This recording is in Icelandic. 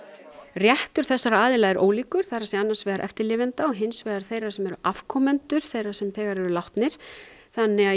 réttur þessara aðila er ólíkur það er að segja annars vegar eftirlifenda og hins vegar þeirra sem eru afkomendur þeirra sem þegar eru látnir þannig að